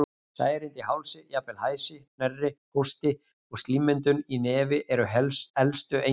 Særindi í hálsi, jafnvel hæsi, hnerri, hósti og slímmyndun í nefi eru elstu einkennin.